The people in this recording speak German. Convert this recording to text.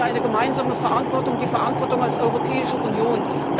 Hier tragen wir eine gemeinsame Verantwortung, die Verantwortung als Europäische Union.